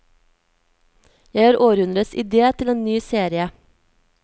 Jeg har århundrets idé til en ny serie.